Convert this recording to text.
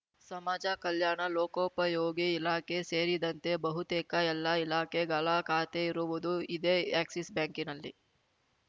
ಸಮಾಜ ಕಲ್ಯಾಣ ಲೋಕೋಪಯೋಗಿ ಇಲಾಖೆ ಸೇರಿದಂತೆ ಬಹುತೇಕ ಎಲ್ಲಾ ಇಲಾಖೆಗಳ ಖಾತೆ ಇರುವುದು ಇದೇ ಎಕ್ಸಿಸ್‌ ಬ್ಯಾಂಕ್‌ನಲ್ಲಿ